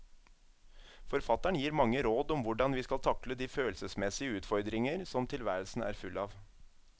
Forfatteren gir mange råd om hvordan vi skal takle de følelsesmessige utfordringer som tilværelsen er full av.